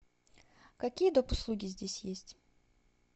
какие доп услуги здесь есть